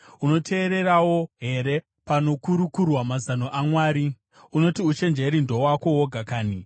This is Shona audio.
Unoteererawo here panokurukurwa mazano aMwari? Unoti uchenjeri ndohwako woga kanhi?